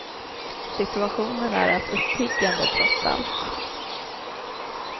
Situationen är rätt uppiggande, trots allt.